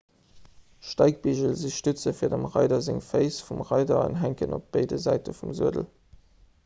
steigbigel si stütze fir dem reider seng féiss vum reider an hänken op béide säite vum suedel